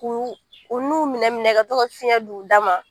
K u u nun minɛ minɛ ka tɔ ka fiyɛn d' u da ma.